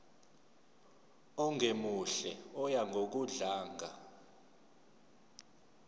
ongemuhle oya ngokudlanga